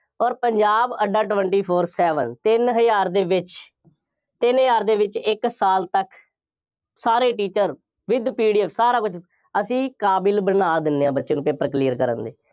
ਅੋਰ ਪੰਜਾਬ ਅੱਡਾ twenty four seven ਤਿੰਨ ਹਜ਼ਾਰ ਦੇ ਵਿੱਚ, ਤਿੰਨ ਹਜ਼ਾਰ ਦੇ ਵਿੱਚ ਇੱਕ ਸਾਲ ਤੱਕ, ਸਾਰੇ teacher with PDF ਸਾਰਾ ਕੁੱਝ, ਅਸੀਂ ਕਾਬਿਲ ਬਣਾ ਦਿੰਦੇ ਹਾਂ, ਬੱਚੇ ਨੂੰ paper clear ਕਰਨ ਲਈ,